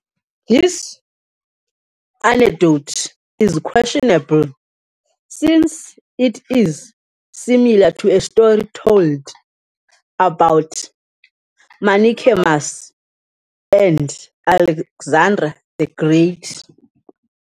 This anecdote is questionable since it is similar to a story told about Menaechmus and Alexander the Great.